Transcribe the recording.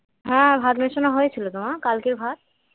হ্যাঁ ভাত বসানো হয়েছিল তো মা কালকের ভাত